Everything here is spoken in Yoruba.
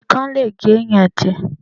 Ikán le gé ẹ̀yàn jẹ.